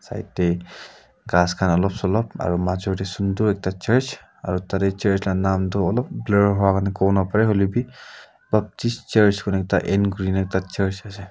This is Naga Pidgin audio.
side tey ghas khan olop solop aro majo tey sundur ekta church aro tatey church la naam toh olop clear nohoi wa kuwonapareh hoilepi baptist church kuina end kurina ekta church ase.